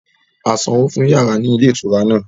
A sanwó fún yàrá ní ilé ìtura náà